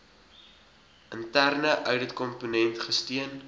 interne ouditkomponent gesteun